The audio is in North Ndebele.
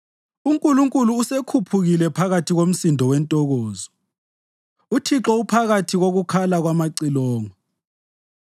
UNkulunkulu usekhuphukile phakathi komsindo wentokozo, uThixo uphakathi kokukhala kwamacilongo.